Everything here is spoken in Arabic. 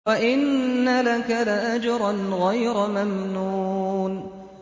وَإِنَّ لَكَ لَأَجْرًا غَيْرَ مَمْنُونٍ